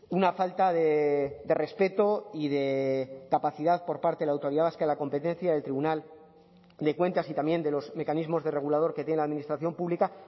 una falta de respeto y de capacidad por parte de la autoridad vasca de la competencia del tribunal de cuentas y también de los mecanismos de regulador que tiene la administración pública